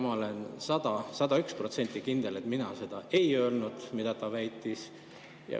Ma olen 101% kindel, et mina ei öelnud seda, mida ta väitis.